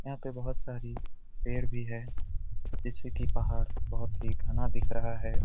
यहां पे बहुत सारी पेड़ भी है जैसे कि पहाड़ बहुत ही घना दिख रहा है।